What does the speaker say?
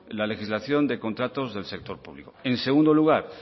la legislación de contratos del sector público en segundo lugar